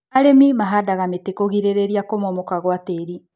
Arĩmi mahandaga mĩtĩ kũgirĩrĩria kũmomoka gwa tĩri.